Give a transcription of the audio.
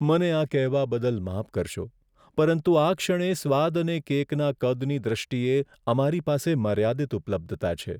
મને આ કહેવા બદલ માફ કરશો, પરંતુ આ ક્ષણે સ્વાદ અને કેકના કદની દૃષ્ટિએ અમારી પાસે મર્યાદિત ઉપલબ્ધતા છે.